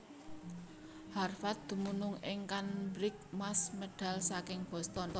Harvard dumunung ing Cambridge Mass medal saking Boston